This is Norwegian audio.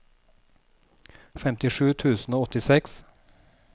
femtisju tusen og åttiseks